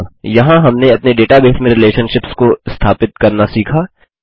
अतः यहाँ हमने अपने डेटाबेस में रिलेशनशिप्स को स्थापित करना सीखा